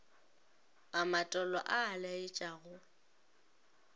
a matolo a a laetšago